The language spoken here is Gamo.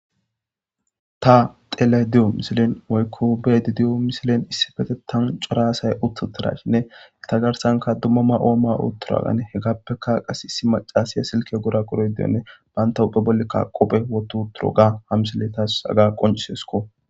ta tele diyo misilen woykko bedi diyo misilen issi fete tan cora asay uttuttarashinne ta garsanka dummuma ooma oottura agane he gappeka qas issi macasiya silke gora qoroy deyonne banta uphe bolle kaqopphe wotuturo ga hamsile taass aga qoncisesko